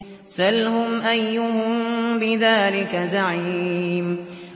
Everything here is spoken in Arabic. سَلْهُمْ أَيُّهُم بِذَٰلِكَ زَعِيمٌ